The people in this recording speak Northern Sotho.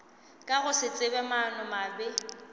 ka go se tsebe maanomabe